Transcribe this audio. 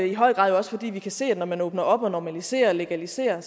i høj grad også fordi vi kan se at når man åbner op og normaliserer og legaliserer